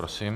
Prosím.